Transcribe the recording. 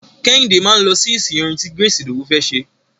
Kẹ́hìndé máa lọ sí ìsìn orin ti Grace Idowu fẹ́ ṣe.